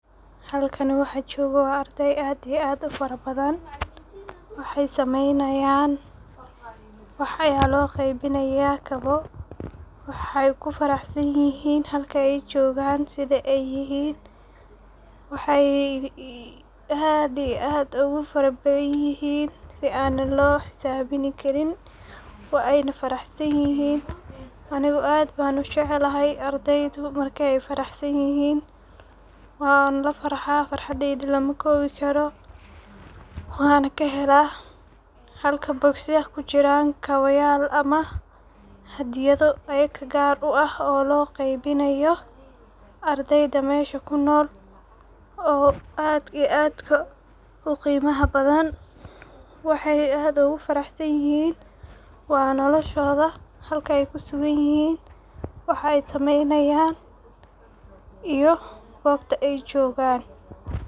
Halkani waxa jogaa wa ardey aad iyo aad u fara badan waxa sameynayan ,waxa loo qeybinaya kabo aad iyo aad u fara badan ,waxey ku farah sanyihin halka ay joga sidha ay yihin ,waxey aad iyo ugu fara badan yihin si an loo xisabini karin waa ayna farah san yihin anigu aad ban u jeclahay ardaydu markey farah san yihin waana lafarha ,farhadeyda lama kobi karo ,waan kahela halka bogisyasha kujiran hadiyado ama kabayal oo ayaga loo kene oo loo qeybinayo ardeyda mesha kunol oo aad iyo aad ka u qimaha badan waxey aad ugu farah sanyihin waa noloshoda halkey ku sugan yihin waxey sameynayan iyo gobta ay jogan.